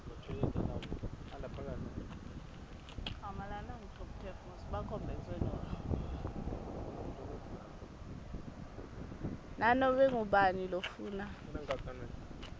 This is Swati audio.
nanobe ngubani lofuna